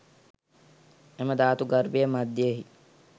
එම ධාතු ගර්භය මධ්‍යයෙහි